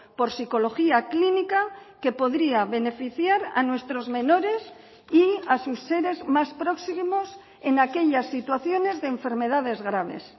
por psicología clínica que podría beneficiar a nuestros menores y a sus seres más próximos en aquellas situaciones de enfermedades graves